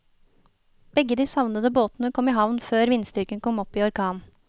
Begge de savnede båtene kom i havn før vindstyrken kom opp i orkan.